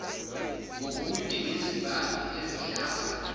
ngobude bezibani ezihlaba